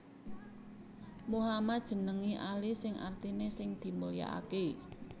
Muhammad njenengi Ali sing artiné sing dimulyakaké